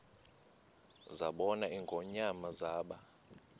zabona ingonyama zaba